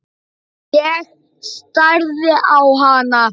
Ég starði á hana.